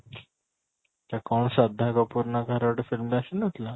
ସେଟା କ'ଣ ଶ୍ରଦ୍ଧା କପୂର ନା କାହାର ଗୋଟେ film ଆସି ନ ଥିଲା